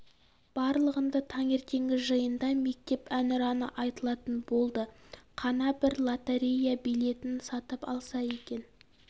барлығында таңертеңгі жиында мектеп әнұраны айтылатын болды қана бір лотерея билетін сатып алса екен